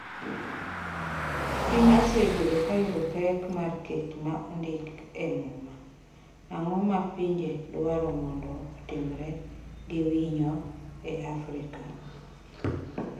Piny osebedo ka yudo pek mar ‘kech ma ondik e Muma’ Ang’o ma pinje dwaro mondo otimre gi winyo e Afrika?